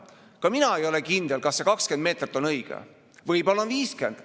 Ka mina ei ole kindel, kas see 20 meetrit on õige, võib-olla on 50.